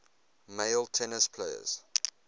male tennis players